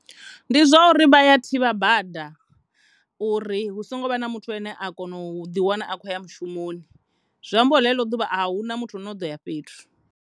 Ndi zwa uri vha ya thivha bada uri hu songo vha na muthu ane a kona u ḓi wana a tshi kho ya mushumoni zwi ambori ḽeḽo ḓuvha ahuna muthu ane a ḓo ya fhethu.